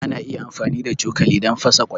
Ana iya amfani da cokali don fasa ƙwai.